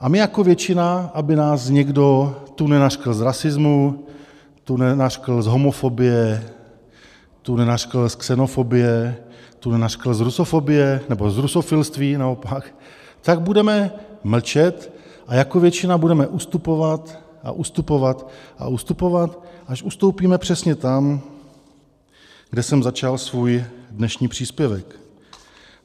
A my jako většina, aby nás někdo tu nenařkl z rasismu, tu nenařkl z homofobie, tu nenařkl z xenofobie, tu nenařkl z rusofobie, nebo z rusofilství naopak, tak budeme mlčet a jako většina budeme ustupovat a ustupovat a ustupovat, až ustoupíme přesně tam, kde jsem začal svůj dnešní příspěvek.